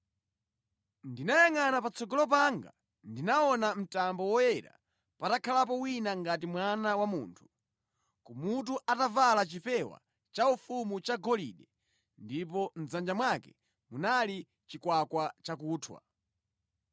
Ndinayangʼana patsogolo panga ndinaona mtambo woyera patakhalapo wina ngati Mwana wa Munthu, kumutu atavala chipewa chaufumu chagolide ndipo mʼdzanja mwake munali chikwakwa chakunthwa.